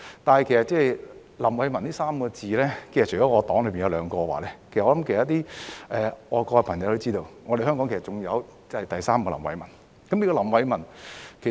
但是，名叫"林偉文"的，其實除我黨的兩位外，我想其他愛國朋友也知道，香港還有另一位林偉文。